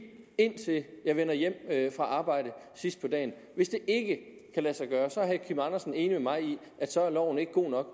indtil jeg vender hjem fra arbejde sidst på dagen hvis det ikke kan lade sig gøre er herre kim andersen enig med mig i at så er loven ikke god nok